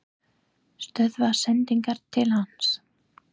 Stöðva sendingar til hans?